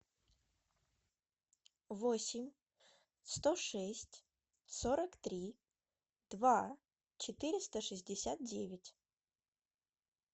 восемь сто шесть сорок три два четыреста шестьдесят девять